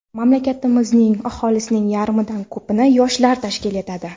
Mamlakatimiz aholisining yarmidan ko‘pini yoshlar tashkil etadi.